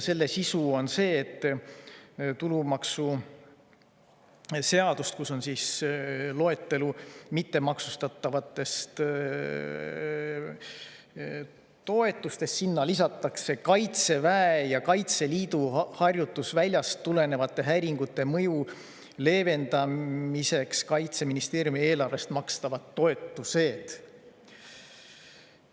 Selle sisu on see, et tulumaksuseadusesse, mittemaksustatavate toetuste loetellu lisatakse Kaitseväe ja Kaitseliidu harjutusväljast tulenevate häiringute mõju leevendamiseks Kaitseministeeriumi eelarvest makstavad toetused.